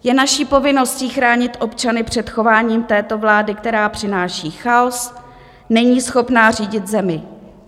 Je naší povinností chránit občany před chováním této vlády, která přináší chaos, není schopná řídit zemi.